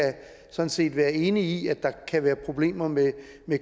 sådan set være enig i at der kan være problemer med